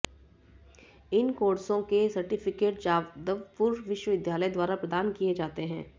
इन कोर्सों के सर्टिफिकेट जादवपुर विश्वविद्यालय द्वारा प्रदान किए जाते हैं